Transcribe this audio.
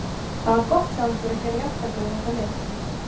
Það var gott hjá ykkur að gera jafntefli við þetta lið.